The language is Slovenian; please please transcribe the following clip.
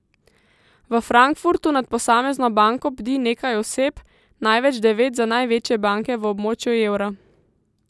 V Frankfurtu nad posamezno banko bdi nekaj oseb, največ devet za največje banke v območju evra.